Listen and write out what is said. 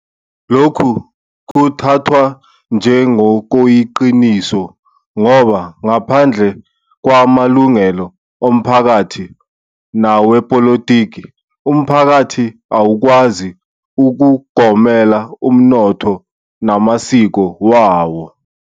Lokhu kuthathwa njengokuyiqiniso ngoba ngaphandle kwamalungelo omphakathi nawepolitiki, umphakathi awukwazi ukugomela umnotho namasiko wawo.